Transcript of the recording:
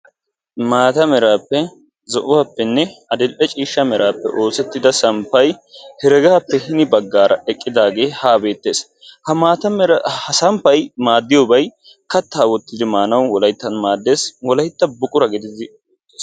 Maata meraappe zo'uwappenne adil''e ciishsha meraappe oosettida samppay heregaappe hini baggaara eqqidaagee haa beettees. Ha maata mera ha samppay maaddiyobay kattaa oytidi maanwu wolayttan maaddees. Wolayttan buqura gididi.